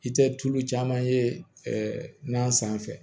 I tɛ tulu caman ye nan sanfɛ